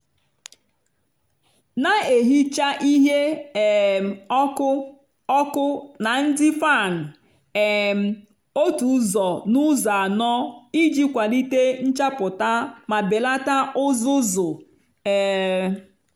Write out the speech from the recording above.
na-ehicha ihe um ọkụ ọkụ na ndị fan um otu ụzọ n'ụzọ anọ iji kwalite nchapụta ma belata uzuzu. um